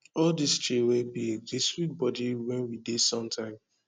all dese tree wey big dey sweet body when we dey sun time